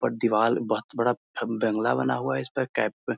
और दीवाल बहुत बड़ा बंगला बना हुआ है इस पे कैप पे।